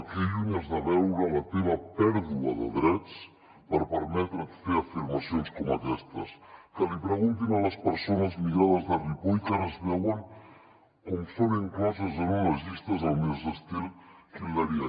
que lluny has de veure la teva pèrdua de drets per permetre’t fer afirmacions com aquestes que li preguntin a les persones migrades de ripoll que ara es veuen com són incloses en unes llistes al més estil hitlerià